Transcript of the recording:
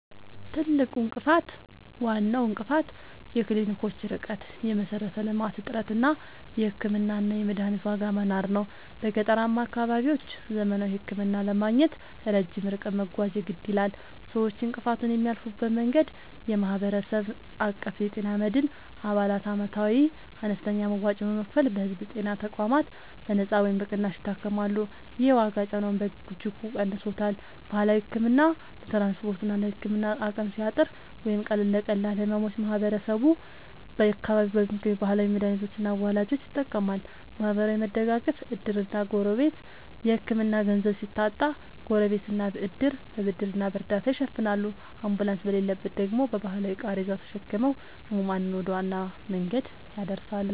ትልቁ እንቅፋት፦ ዋናው እንቅፋት የክሊኒኮች ርቀት (የመሠረተ-ልማት እጥረት) እና የሕክምናና የመድኃኒት ዋጋ መናር ነው። በገጠራማ አካባቢዎች ዘመናዊ ሕክምና ለማግኘት ረጅም ርቀት መጓዝ የግድ ይላል። ሰዎች እንቅፋቱን የሚያልፉበት መንገድ፦ የማህበረሰብ አቀፍ የጤና መድን፦ አባላት ዓመታዊ አነስተኛ መዋጮ በመክፈል በሕዝብ ጤና ተቋማት በነጻ ወይም በቅናሽ ይታከማሉ። ይህ የዋጋ ጫናውን በእጅጉ ቀንሶታል። ባህላዊ ሕክምና፦ ለትራንስፖርትና ለሕክምና አቅም ሲያጥር ወይም ለቀላል ሕመሞች ማህበረሰቡ በአካባቢው በሚገኙ ባህላዊ መድኃኒቶችና አዋላጆች ይጠቀማል። ማህበራዊ መደጋገፍ (ዕድርና ጎረቤት)፦ የሕክምና ገንዘብ ሲታጣ ጎረቤትና ዕድር በብድርና በእርዳታ ይሸፍናሉ፤ አምቡላንስ በሌለበት ደግሞ በባህላዊ ቃሬዛ ተሸክመው ሕሙማንን ወደ ዋና መንገድ ያደርሳሉ።